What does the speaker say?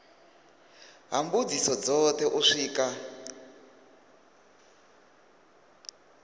ha mbudziso dzothe u swika